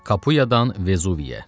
Kapuyadan Vezuviyə.